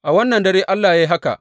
A wannan dare Allah ya yi haka.